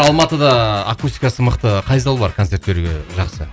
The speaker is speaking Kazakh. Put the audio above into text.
алматыда акустикасы мықты қай зал бар концерт беруге жақсы